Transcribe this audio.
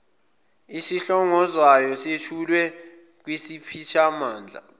esihlongozwayo sethulwe kwisiphathimandla